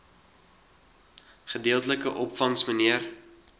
gedeeltelike opvangs mnr